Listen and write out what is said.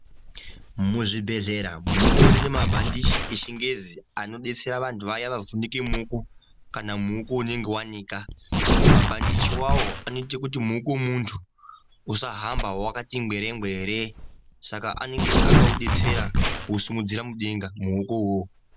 Muzvibhedhleya mutori nemabhandichi echingezi anodetsera vaya vavhunike muoko kana muoko unenge wanika, mabhandichi iwawo anoite kuti muoko wemuntu usahambe wakati ngwere ngwere saka anenge akaudetsera kuusimudzira mudenga muoko uwowo.